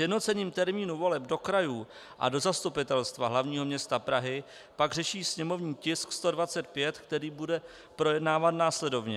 Sjednocením termínu voleb do krajů a do Zastupitelstva hlavního města Prahy pak řeší sněmovní tisk 125, který bude projednáván následovně.